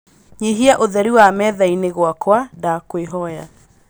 nyihia ūtheri wa methaīni gwakwa ndakwīhoya